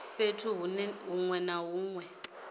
fhethu huṅwe na huṅwe hune